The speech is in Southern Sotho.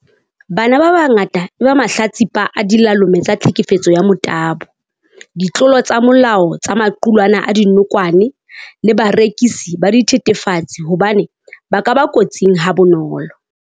Bana ba bangata e ba mahlatsipa a dilalome tsa tlhekefetso ya motabo, ditlolo tsa molao tsa maqulwana a dinokwane le barekisi ba dithethefatsi hobane ba ka ba kotsing ha bonolo.